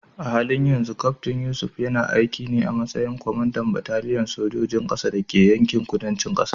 A halin yanzu Kaftin Yusuf yana aiki ne a matsayin kwamandan bataliyar sojojin ƙasa da ke yankin kudancin ƙasar.